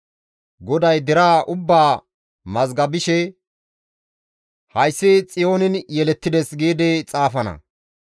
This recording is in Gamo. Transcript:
GODAY deraa ubbaa mazgabishe, «Hayssi Xiyoonin yelettides» giidi xaafana.